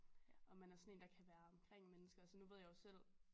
Om man er sådan én der kan være omkring mennesker altså nu ved jeg jo selv